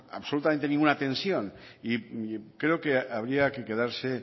absolutamente ninguna tensión creo que habría que quedarse